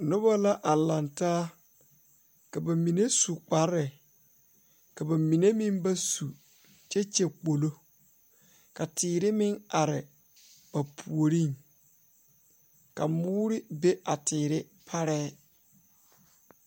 Noba la a laŋ taa ka ba mine su kpare ka ba mine meŋ ba su kyɛ kyɛ kpolo ka teere meŋ are ba puoriŋ ka moore be a teere parɛɛ.